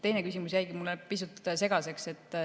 Teine küsimus jäi mulle pisut segaseks.